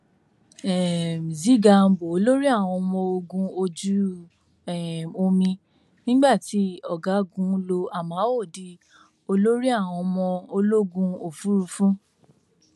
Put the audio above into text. um z gambo olórí àwọn ọmọ ogun ojú um omi nígbà tí ọgágun lo amao di olórí àwọn ọmọ ológun òfurufú